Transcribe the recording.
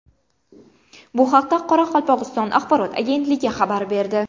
Bu haqda Qoraqalpog‘iston axborot agentligi xabar berdi .